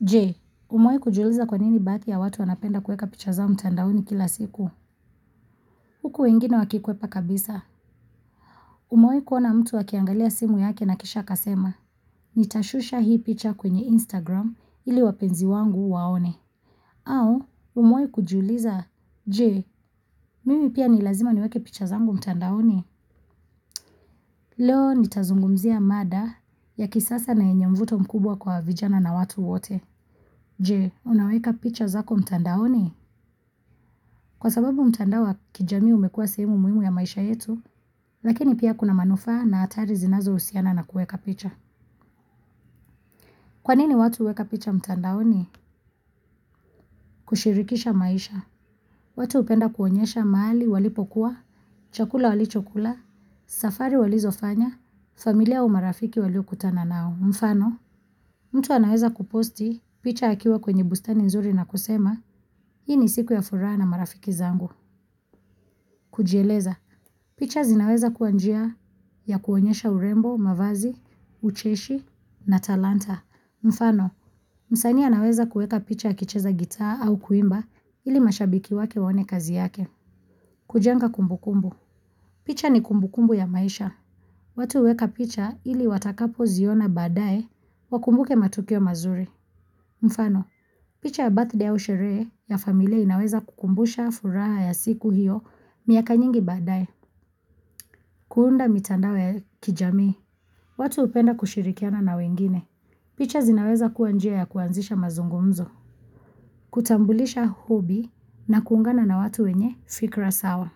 Je, umewahi kujuliza kwa nini baadhi ya watu wanapenda kueka picha zao mtandaoni kila siku? Huku wengine wakikwepa kabisa. Umewahi kuona mtu akiangalia simu yake na kisha akasema. Nitashusha hii picha kwenye Instagram ili wapenzi wangu waone. Au, umoe kujuliza. Je, mimi pia ni lazima niweke picha zangu mtandaoni? Leo nitazungumzia mada ya kisasa na yenye mvuto mkubwa kwa vijana na watu wote. Je, unaweka picha zako mtandaoni? Kwa sababu mtandao wa kijamii umekuwa shemu muhimu ya maisha yetu, lakini pia kuna manufaa na hatari zinazohusiana na kuweka picha. Kwa nini watu huweka picha mtandaoni? Kushirikisha maisha. Watu hupenda kuonyesha mahali walipokuwa, chakula walichokula, safari walizofanya, familia au marafiki waliokutana nao. Mfano, mtu anaweza kuposti picha akiwa kwenye bustani nzuri na kusema, hii ni siku ya furaha na marafiki zangu. Kujieleza, picha zinaweza kuwa njia ya kuonyesha urembo, mavazi, ucheshi na talanta. Mfano, msanii anaweza kuweka picha akicheza gitaa au kuimba ili mashabiki wake waone kazi yake. Kujenga kumbukumbu. Picha ni kumbukumbu ya maisha. Watu huweka picha ili watakapoziona baadaye wakumbuke matukio mazuri. Mfano, picha ya birthday au sherehe ya familia inaweza kukumbusha furaha ya siku hiyo miaka nyingi baadaye. Kuunda mitandao ya kijamii. Watu hupenda kushirikiana na wengine. Picha zinaweza kuwa njia ya kuanzisha mazungumzo. Kutambulisha hobi na kuungana na watu wenye fikra sawa.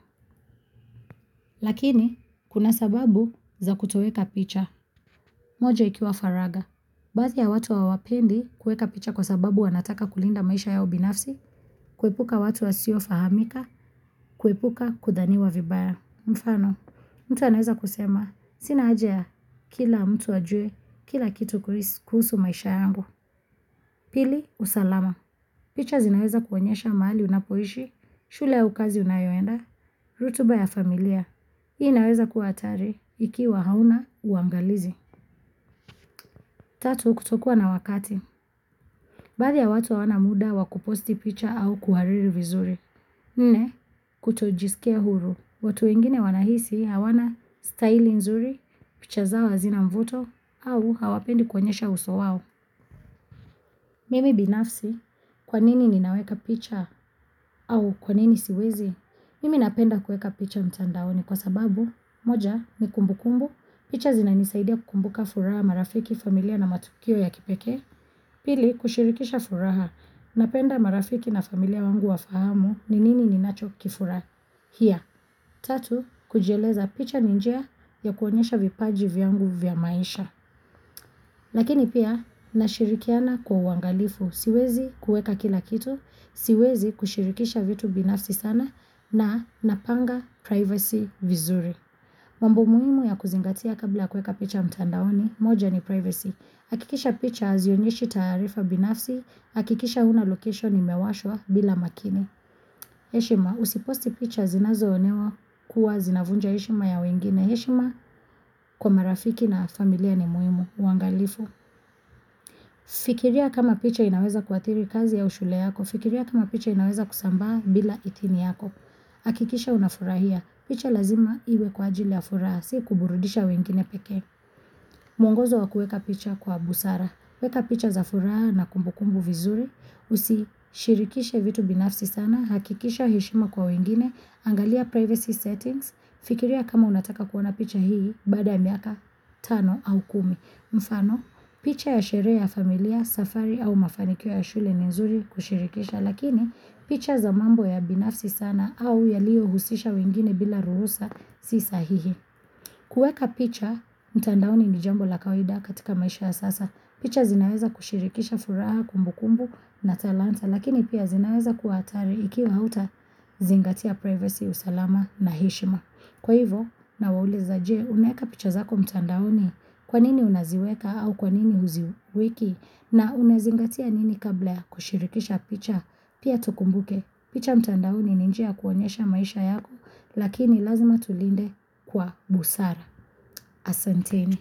Lakini, kuna sababu za kutoweka picha. Moja ikiwa faragha. Baadhi ya watu hawapendi kuweka picha kwa sababu wanataka kulinda maisha yao binafsi, kuepuka watu wasiofahamika, kuepuka kudhaniwa vibaya. Mfano, mtu anaweza kusema, sina haja ya, kila mtu ajue, kila kitu kuhusu maisha yangu. Pili, usalama. Picha zinaweza kuonyesha mahali unapoishi, shule au kazi unayoenda, rutuba ya familia. Hii inaweza kuwa hatari, ikiwa hauna uangalizi. Tatu, kutokuwa na wakati. Baadhi ya watu hawana muda wakuposti picha au kuhariri vizuri. Nne, kutojisikia huru. Watu wengine wanahisi hawana style nzuri, picha zao hazina mvuto au hawapendi kuonyesha uso wao. Mimi binafsi, kwa nini ninaweka picha? Au kwa nini siwezi? Mimi napenda kuweka picha mtandaoni kwa sababu, moja, ni kumbukumbu, picha zinanisaidia kukumbuka furaha, marafiki, familia na matukio ya kipekee. Pili, kushirikisha furaha, napenda marafiki na familia wangu wafahamu ni nini ninachokifurahi. Hiya, tatu, kujieleza picha ni njia ya kuonyesha vipaji vyangu vya maisha. Lakini pia, nashirikiana kwa uangalifu. Siwezi kuweka kila kitu, siwezi kushirikisha vitu binafsi sana na napanga privacy vizuri. Mambo muhimu ya kuzingatia kabla ya kuweka picha mtandaoni, moja ni privacy. Hakikisha picha hazionyeshi taarifa binafsi, hakikisha huna location imewashwa bila makini. Heshima, usiposti picha zinazoonewa kuwa zinavunja heshima ya wengine. Heshima kwa marafiki na familia ni muhimu. Uangalifu. Fikiria kama picha inaweza kuathiri kazi au shule yako. Fikiria kama picha inaweza kusambaa bila idhini yako. Hakikisha unafurahia. Picha lazima iwe kwa ajili ya furaha, si kuburudisha wengine pekee. Mwongozo wa kuweka picha kwa busara. Weka picha za furaha na kumbukumbu vizuri. Usishirikishe vitu binafsi sana. Hakikisha heshima kwa wengine. Angalia privacy settings. Fikiria kama unataka kuona picha hii baada ya miaka tano au kumi. Mfano, picha ya sherehe ya familia, safari au mafanikio ya shule ni nzuri kushirikisha. Lakini, picha za mambo ya binafsi sana au yaliohusisha wengine bila ruhusa si sahihi. Kuweka picha mtandaoni ni jambo la kawaida katika maisha ya sasa. Picha zinaweza kushirikisha furaha kumbukumbu na talanta, lakini pia zinaweza kuwa hatari ikiwa hautazingatia privacy, usalama na heshima. Kwa hivyo nawauliza je, unaweka picha zako mtandaoni? Kwa nini unaziweka au kwa nini huziweka? Na unazingatia nini kabla ya kushirikisha picha? Pia tukumbuke. Picha mtandaoni ni njia ya kuonyesha maisha yako lakini lazima tulinde kwa busara. Asanteni.